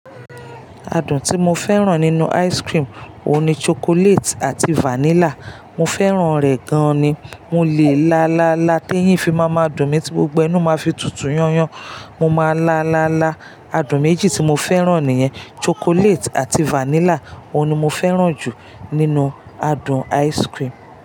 Adùn tí mo fẹ́ràn nínú ice cream òun ni chocolate àti vanilla. Mo fẹ́ràn rẹ̀ gan ni. Mo lè lá, lá, lá. Tí èyín fi máa ma dùn mí tí gbogbo inú máa fi tutù yányan, mo máa lá, lá, lá. Adùn méjì tí mo fẹ́ràn nìyen, chocolate àti vanilla òun ni mo fẹ́ràn jù nínú adùn ice cream.